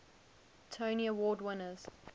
tony award winners